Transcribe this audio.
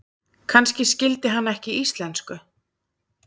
Kannski skildi hann ekki íslensku.